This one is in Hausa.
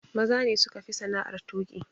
Maza ne suka fi sana'ar tuƙi.